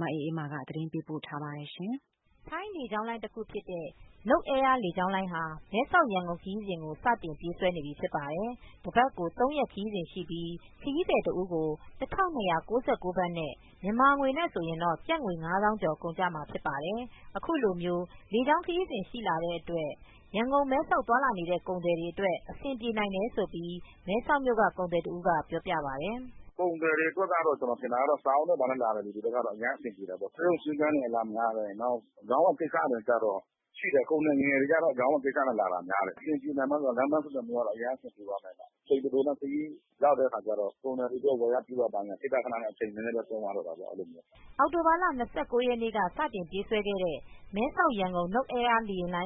မအေးအေးမာကသတင်းပေးပို့ထားပါတယ် ထိုင်းလေကြောင်းတခုဖြစ်တဲ့ Nok air လေကြောင်လိုင်းဟာ မဲဆောက်-ရန်ကုန်ခရီးစဉ်ကိုစတင်ပြေးဆွဲနေပြီဖြစ်ပါတယ်။ တပတ်ကို ၃ရက်ခရီးစဉ်ရှိပြီး ခရီးသည်တဦးကို ၁၂၉၉ ဘတ် နဲ့ ကုန်ကျမှာဖြစ်ပါတယ်။ အခုလို လေကြောင်းခရီးစဉ်ရှိလာတဲ့အတွက် ရန်ကုန်-မဲဆောက်သွားလာနေတဲ့ကုန်သည်တွေအတွက် အဆင်ပြေနိုင်တယ်လို့ မဲဆောက်မြို့ က ကုန်သည်တဦးကပြောပြပါတယ်။ "ကုန်သည်တွေ ဘာတွေအတွက်ကတော့ ကျနော်ထင်တာ စာအုပ်နဲ့လာမယ်ဆိုရင် အဆင်ပြေသွားမှာပဲ။ ဆေးရုံဆေးခန်းတွေလည်းအလာများတယ် ၊ ကုန်သည်ငယ်တွေကတော့ အရောင်းအဝယ် ကိစ္စနဲ့ လာတာများတယ်။ အဆင်ပြေမလားဆိုတော့ လမ်းပမ်းဆက်သွယ်ရေးအရမ်း အဆင်ပြေသွားမယ်၊ အချိန်တိုတိုနဲ့ရောက်တဲ့အခါကျတော့ ကုန်သည်တွေအတွက်ဝယ်ရပြုရဆိုတာ့ အချိန်နည်းနည်းပဲသုံးရတော့တာပေါ့ " အောင်တိုဘာလ ၂၉ရက်နေ့ကစတင်ပြေးဆွဲတဲ့ မဲဆောက်- ရန်ကုန်Nok air လေယာဉ်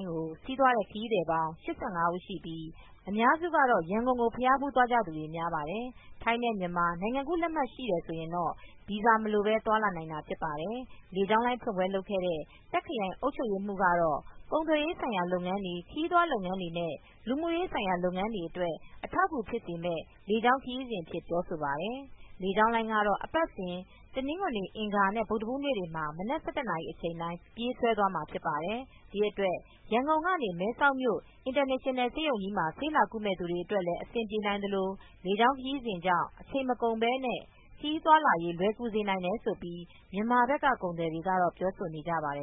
ကို စီးသွားတဲ့ ခရီးသည် ၈၅ဦးရှိပြီး အများစုကတော့ ရန်ကုန်ကိုဘုရားဖူးသွားကြသူတွေများပါတယ်။ ထိုင်းနဲ့ မြန်မာနိုင်ငံကူးလက်မှတ်ရှိတယ် ဆိုရင်တော့ ဗီဇာမလိုပဲ သွားလာနိုင်တာဖြစ်ပါတယ်။ လေကြောင်းလိုင်းဖွင့်ပွဲလုပ်ခဲ့တဲ့ တာ့ခ်ခရိုင်အုပ်ချုပ်ရေးမှူးက တော့ ကုန်သွယ်ရေးဆိုင်ရာလုပ်ငန်းတွေ ခရီးသွားလုပ်ငန်းတွေနဲ့ လူမူရေးဆိုင်ရာလုပ်ငန်းတွေအတွက် အထောက်အကူဖြစ်စေမဲ့လေကြောင်း ခရီးစဉ်အဖြစ် ပြောဆိုပါတယ် လေကြောင်းလိုင်းကတော့ အပတ်စဉ်တနင်္ဂနွေ အင်္ဂါနဲ့ ဗုဒ္ဓဟူးနေတွေမှာ မနက် ၁၁နာရီချိန်တိုင်း ပြေးဆွဲမှာဖြစ်ပါတယ်။ ဒီအတွက် ရန်ကုန်ကနေ မဲဆောက်မြို့ အင်တာနေရှင်နယ်ဆေးရုံးကြီးမှာ ဆေးလာကုမဲ့သူတွေလည်းအဆင်ပြေနိုင်သလို လေကြောင်းခရီးစဉ်ကြောင့် အချိန်မကုန်ပဲ နဲ့ ခရီးသွားလာရေးလွယ်ကူစေနိုင်တယ်ဆိုပြီး မြန်မာဘက်ကကုန်သည်တွေကပြောဆိုနေကြပါတယ်